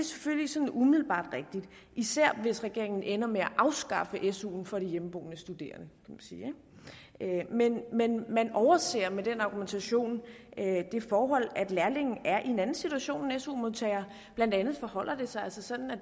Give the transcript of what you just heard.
selvfølgelig sådan umiddelbart rigtigt især hvis regeringen ender med at afskaffe suen for de hjemmeboende studerende men man overser med den argumentation det forhold at lærlinge er i en anden situation end su modtagere blandt andet forholder det sig altså sådan at